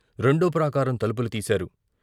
రెండో ప్రాకారం తలుపులు తీశారు.